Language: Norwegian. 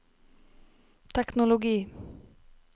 teknologi